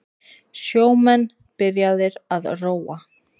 Sjómenn byrjaðir að róa